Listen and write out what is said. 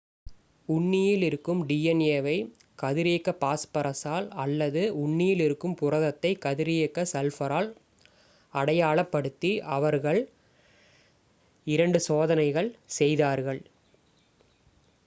உண்ணியில் இருக்கும் டிஎன்ஏ வை கதிரியக்க பாஸ்பரசால் அல்லது உண்ணியில் இருக்கும் புரதத்தை கதிரியக்க சல்பரால் அடையாளப் படுத்தி அவர்கள் இரண்டு 2 சோதனைகள் செய்தார்கள்